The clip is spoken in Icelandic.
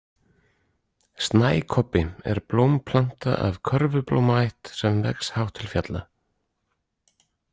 Snækobbi er blómplanta af körfublómaætt sem vex hátt til fjalla.